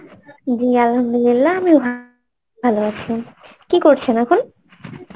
জি Arbi আমি ভালো আছি, কি করছেন এখন?